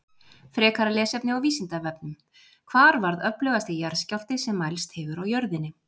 Frekara lesefni á Vísindavefnum: Hvar varð öflugasti jarðskjálfti sem mælst hefur á jörðinni?